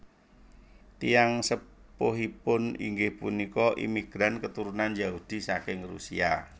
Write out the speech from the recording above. Tiyang sepuhipun inggih punika imigran keturunan Yahudi saking Rusia